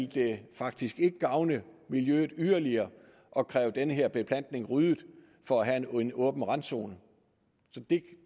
det faktisk ikke ville gavne miljøet yderligere at kræve den her beplantning ryddet for at have en åben randzone så det